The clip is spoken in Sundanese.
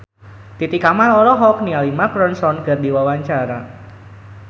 Titi Kamal olohok ningali Mark Ronson keur diwawancara